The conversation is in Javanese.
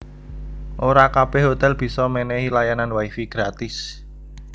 Ora kabèh hotèl bisa mènèhi layanan wi fi gratis